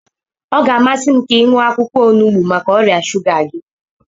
Ọ ga-amasị m ka ị ṅụọ akwụkwọ onugbu maka ọrịa shuga gị.